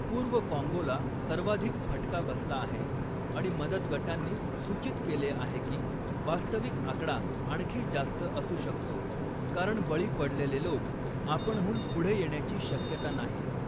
पूर्व काँगोला सर्वाधिक फटका बसला आहे आणि मदत गटांनी सूचित केले आहे की वास्तविक आकडा आणखी जास्त असू शकतो, कारण बळी पडलेले लोक आपणहून पुढे येण्याची शक्यता नाही.